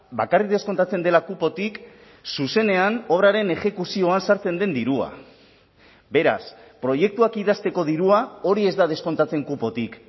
bakarrik deskontatzen dela kupotik zuzenean obraren exekuzioan sartzen den dirua beraz proiektuak idazteko dirua hori ez da deskontatzen kupotik